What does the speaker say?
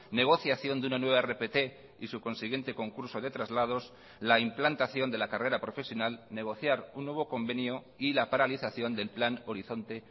negociación de una nueva rpt y su consiguiente concurso de traslados la implantación de la carrera profesional negociar un nuevo convenio y la paralización del plan horizonte